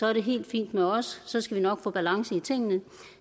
er det helt fint med os så skal vi nok få balance i tingene